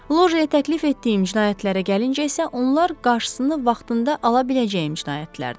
Locaya təklif etdiyim cinayətlərə gəlincə isə, onlar qarşısını vaxtında ala biləcəyim cinayətlərdir.